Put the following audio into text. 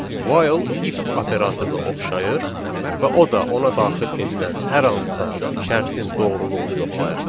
While if operatoruna oxşayır və o da ona daxil edilən hər hansısa şərtin doğruluğunu yoxlayır.